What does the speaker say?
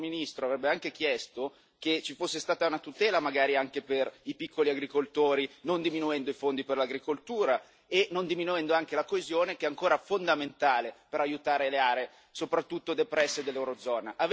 Il nostro ministro avrebbe anche chiesto che ci fosse stata una tutela, magari, anche per i piccoli agricoltori non diminuendo i fondi per l'agricoltura e anche non diminuendo la coesione che è ancora fondamentale per aiutare soprattutto le aree depresse dell'eurozona.